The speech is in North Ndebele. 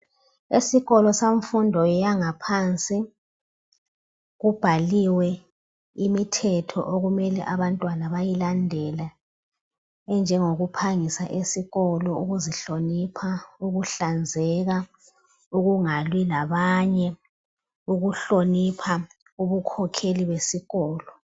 Esikolo samfundo yangaphansi kubhaliwe imithetho okumele abantwana bayilandele, enjengokuphangisa esikolo, ukuzihlonipha, ukuhlanzeka, ukungalwi labanye, ukuhlonipha ubukhokheli besikolo.